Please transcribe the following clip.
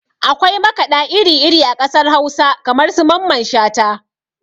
Akwai makaɗa iri iri a ƙasar hausa kamar su mamman shata